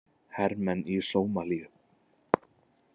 Hermenn í Sómalíu.